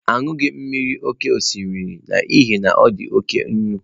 Anughi m mmiri oke osimiri n'ihi na ọ dị oke nnu.